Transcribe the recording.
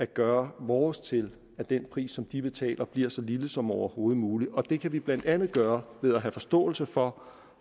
gør vores til at den pris som de betaler bliver så lille som overhovedet muligt det kan vi blandt andet gøre ved at have forståelse for